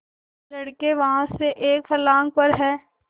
लड़के वहाँ से एक फर्लांग पर हैं